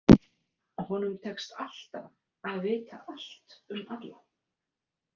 Honum tekst alltaf að vita allt um alla.